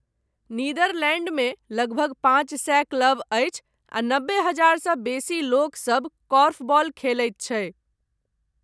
नीदरलैन्डमे लगभग पाँच सए क्लब अछि आ नबे हजार सँ बेसी लोकसब कोर्फबॉल खेलैत छै।